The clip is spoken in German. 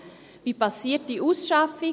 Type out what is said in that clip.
Wie geschieht die Ausschaffung?